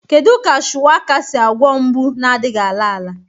Kedu ka shuwaka si agwọ mgbu na-adịghị ala ala?